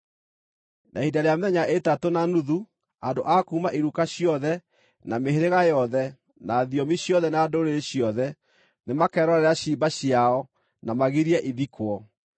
Na ihinda rĩa mĩthenya ĩtatũ na nuthu, andũ a kuuma iruka ciothe, na mĩhĩrĩga yothe, na thiomi ciothe na ndũrĩrĩ ciothe, nĩmakerorera ciimba ciao, na magirie ithikwo.